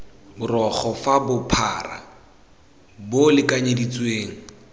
borogo fa bophara bo lekanyeditsweng